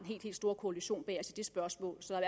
helt store koalition bag os i det spørgsmål så